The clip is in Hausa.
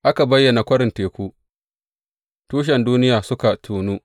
Aka bayyana kwarin teku, tushen duniya suka tonu.